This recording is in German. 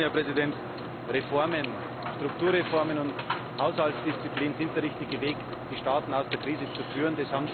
Ich möchte schließen. Reformen, Strukturreformen und Haushaltsdisziplin sind der richtige Weg, die Staaten aus der Krise zu führen.